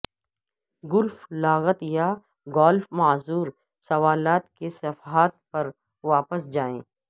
golf لغت یا golf معذور سوالات کے صفحات پر واپس جائیں